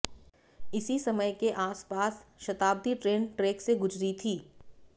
इसी समय के आसपास शताब्दी ट्रेन ट्रैक से गुजरी थी